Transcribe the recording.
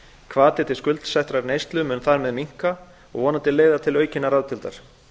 hvati til skuldsettrar neyslu mun þar með minnka og vonandi leiða til aukinnar ráðdeildar